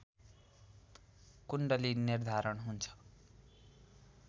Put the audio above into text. कुण्डली निर्धारण हुन्छ